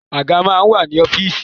Àga máa ń wà ní ọ́fíìsì.